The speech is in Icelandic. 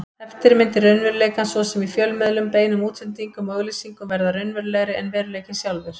Eftirmyndir raunveruleikans, svo sem í fjölmiðlum, beinum útsendingum og auglýsingum, verða raunverulegri en veruleikinn sjálfur.